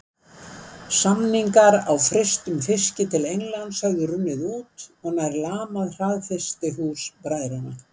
Samningar á frystum fiski til Englands höfðu runnið út og nær lamað hraðfrystihús bræðranna.